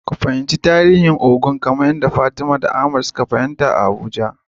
Ku fahimci tarihin bikin Ògún kamar yadda Ahmad da Fatima suka halarta a Abuja.